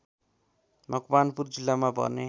मकवानपुर जिल्लामा पर्ने